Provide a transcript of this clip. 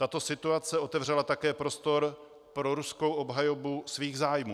Tato situace otevřela také prostor pro ruskou obhajobu svých zájmů.